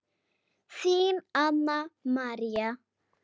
Þín Anna María.